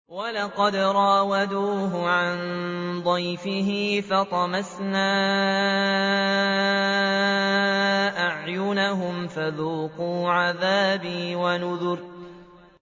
وَلَقَدْ رَاوَدُوهُ عَن ضَيْفِهِ فَطَمَسْنَا أَعْيُنَهُمْ فَذُوقُوا عَذَابِي وَنُذُرِ